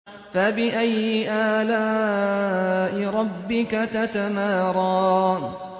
فَبِأَيِّ آلَاءِ رَبِّكَ تَتَمَارَىٰ